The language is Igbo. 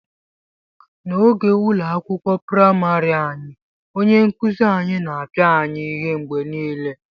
N'oge ụlọ akwụkwọ praịmarị anyị, onye nkuzi anyị na-apịa anyị ihe mgbe niile